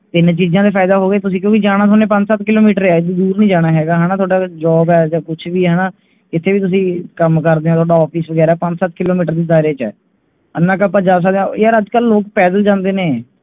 ਤਿੰਨ ਚੀਜਾਂ ਦੇ ਫਾਇਦੇ ਹੋ ਗਏ ਤੁਸੀ ਕਿਓਕਿ ਜਾਣਾ ਥੋਹਨੇ ਪੰਜ ਸੱਤ kilometer ਹੈ, ਇੰਨੀ ਦੂਰ ਨਹੀਂ ਜਾਣਾ ਹੇਗਾ ਹੈਨਾ ਥੋਹਡਾ job ਹੈ ਜਾਂ ਕੁਝ ਵੀ ਹੈਨਾ ਕਿਥੇ ਵੀ ਤੁੱਸੀ ਕੱਮ ਕਰਦੇ ਹੋ ਥੋਹਡਾ office ਵਗੈਰਾ ਪੰਜ ਸਾਰ ਤੇ ਦਾਯਰੇ ਚ ਹੈ ਐਨਾ ਕ ਆਪਾਂ ਕਰ ਸਕਦੇ ਹਾਂ ਯਾਰ ਅਜਕਲ ਲੋਗ ਪੈਦਲ ਜਾਂਦੇ ਨੇ